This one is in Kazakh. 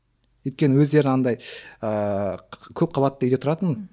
өйткені өздері андай ыыы көп қабатты үйде тұратын